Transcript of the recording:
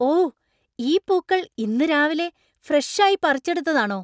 ഓ! ഈ പൂക്കൾ ഇന്ന് രാവിലെ ഫ്രഷ് ആയി പറിച്ചെടുത്തതാണോ?